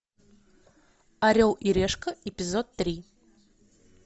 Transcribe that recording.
орел и решка эпизод три